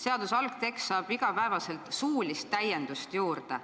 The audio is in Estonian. Seaduse algtekst saab iga päev suulist täiendust juurde.